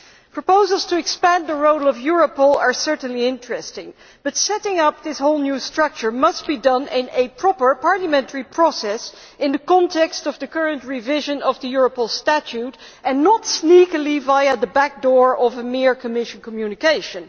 Proposals to expand the role of Europol are certainly interesting, but setting up this whole new structure must be done in a proper parliamentary process in the context of the current revision of the Europol statute, and not sneakily via the back door of a mere Commission communication.